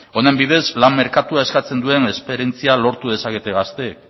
honen bidez lan merkatuak eskatzen duen esperientzia lortu dezakete gaztek